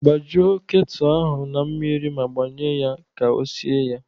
Gbajuo ketu ahụ na mmiri ma gbanye ya ka o sie ya.